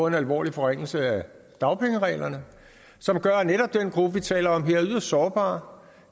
en alvorlig forringelse af dagpengereglerne som gør netop den gruppe vi taler om her yderst sårbare